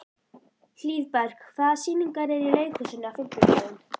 Hlíðberg, hvaða sýningar eru í leikhúsinu á fimmtudaginn?